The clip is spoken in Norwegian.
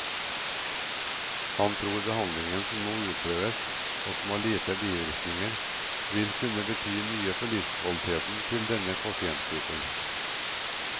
Han tror behandlingen som nå utprøves, og som har lite bivirkninger, vil kunne bety mye for livskvaliteten til denne pasientgruppen.